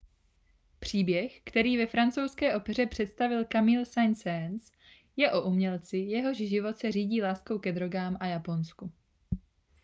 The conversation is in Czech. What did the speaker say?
příběh který ve francouzské opeře představil camille saint-saens je o umělci jehož život se řídí láskou ke drogám a japonsku